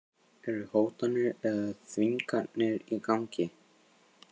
Eru hótanir eða þvinganir í gangi?